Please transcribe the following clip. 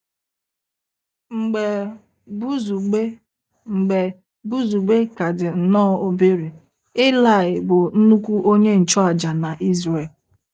Mgbe Buzugbe Mgbe Buzugbe ka dị nnọọ obere, Ilaị bụ nnukwu onye nchụàjà na Izrel.